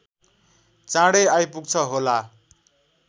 चाँडै आइपुग्छ होला